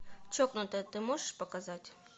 чокнутая ты можешь показать